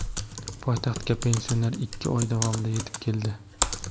Poytaxtga pensioner ikki oy davomida yetib keldi.